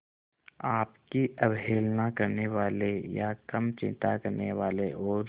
आपकी अवहेलना करने वाले या कम चिंता करने वाले और